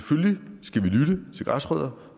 græsrødder